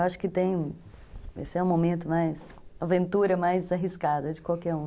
Eu acho que tem... Esse é o momento mais... A aventura mais arriscada de qualquer um.